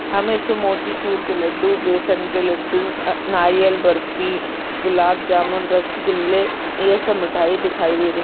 हमे इसमे मोतीचूर के लड्डू बेसन के लड्डू आ नारियल बर्फी गुलाब जामुन रसगुल्ले ये सब मिटाई दिखाई दे रही --